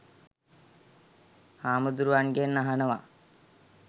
හාමුදුරුවන්ගෙන් අහනව